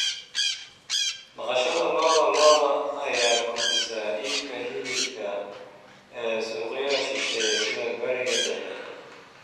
Dhaqashada lo'da lo'da ayaa kordhisay iibka hilibka ee suuqyada shisheeye sida Bariga Dhexe.